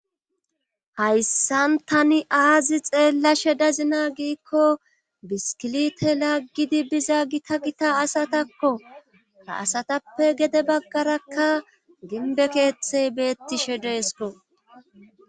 hayssan tani aazi xeellashe dazina giikko biskilite laggidi biza gita gita asatakko ha asatappe gede baggarakka gimbe keeththey beettishe deesko